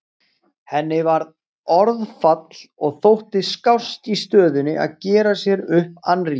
Henni varð orðfall og þótti skást í stöðunni að gera sér upp annríki.